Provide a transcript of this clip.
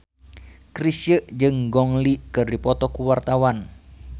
Chrisye jeung Gong Li keur dipoto ku wartawan